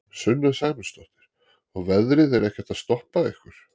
Sunna Sæmundsdóttir: Og veðrið er ekkert að stoppa ykkur?